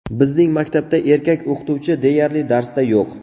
Bizning maktabda erkak o‘qituvchi deyarli darsda yo‘q.